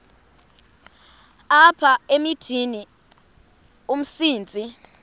apha emithini umsintsi